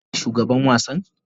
Shin kai ne shugaban wasan?